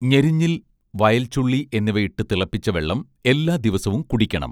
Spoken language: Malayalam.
ഞെരിഞ്ഞിൽ വയൽ ചുള്ളി എന്നിവ ഇട്ടു തിളപ്പിച്ച വെള്ളം എല്ലാ ദിവസവും കുടിക്കണം